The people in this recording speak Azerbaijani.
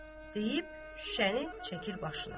Deyib şüşəni çəkir başına.